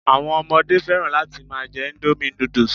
Àwọn ọmọdé fẹ́ràn láti máa jẹ́ indomie noodles